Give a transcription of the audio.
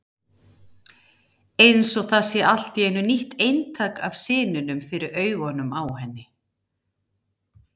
Eins og það sé allt í einu nýtt eintak af syninum fyrir augunum á henni.